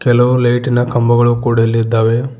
ಕೆಲವು ಲೈಟಿನ ಕಂಬಗಳು ಕೂಡ ಇಲ್ಲಿದ್ದಾವೆ.